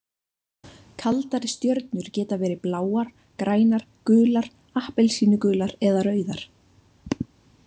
Kaldari stjörnur geta verið bláar, grænar, gular, appelsínugular eða rauðar.